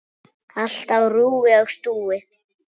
Allt á rúi og stúi.